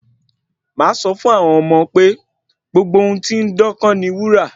Màá sọ fún àwọn ọmọ pé gbogbo ohun tí ó ń dán kọ́ ni wúrà